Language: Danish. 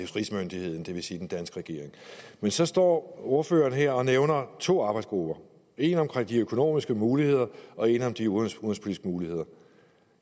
rigsmyndigheden det vil sige den danske regering men så står ordføreren her og nævner to arbejdsgrupper en om de økonomiske muligheder og en om de udenrigspolitiske muligheder